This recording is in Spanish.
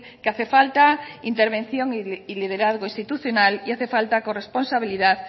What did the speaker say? que hace falta intervención y liderazgo institucional y hace falta corresponsabilidad